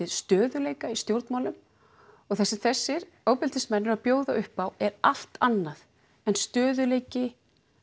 stöðuleika í stjórnmálum það sem þessir ofbeldismenn eru að bjóða upp á er allt annað en stöðugleiki